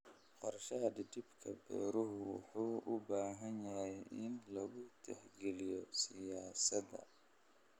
Qorshaha dhidibka beeruhu wuxuu u baahan yahay in lagu tixgeliyo siyaasadda.